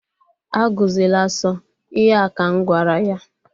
A gụzịla asọ! Ihe a ka m gwara ya.